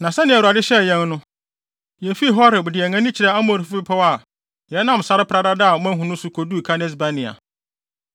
Na sɛnea Awurade hyɛɛ yɛn no, yefii Horeb de yɛn ani kyerɛɛ Amorifo bepɔw a yɛnam sare pradada a moahu no so koduu Kades-Barnea.